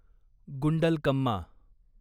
Gundlakamma